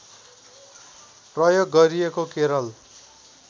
प्रयोग गरिएको केरल